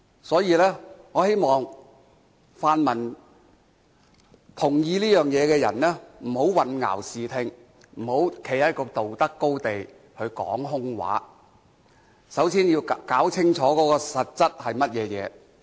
所以，我希望泛民同意這一點，不要混淆視聽，不要站在道德高地說空話，首先要弄清楚實質的情況。